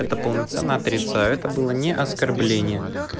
это полноценно отрицаю это было не оскорбление